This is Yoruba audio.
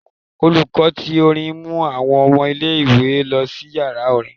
Olùkọ́ tí orín mú àwọn ọmọ ìlé-ìwé lọ si ìyara orin.